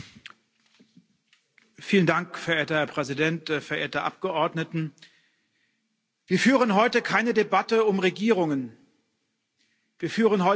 Verehrter Herr Präsident, verehrte Abgeordnete! Wir führen heute keine Debatte um Regierungen, wir führen heute eine Debatte um ein neues Instrument.